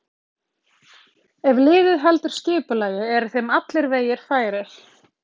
Ef liðið heldur skipulagi eru þeim allir vegir færir.